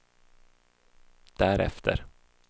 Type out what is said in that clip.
därefter